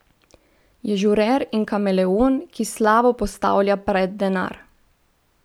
Je žurer in kameleon, ki slavo postavlja pred denar.